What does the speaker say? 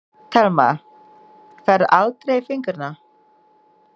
Telma: Færðu aldrei í fingurna?